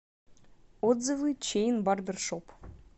отзывы чейн барбершоп